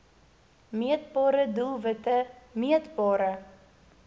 meetbare doelwitte meetbare